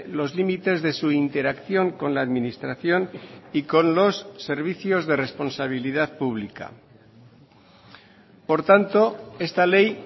los límites de su interacción con la administración y con los servicios de responsabilidad pública por tanto esta ley